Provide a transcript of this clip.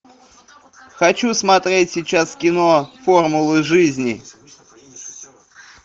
хочу смотреть сейчас кино формула жизни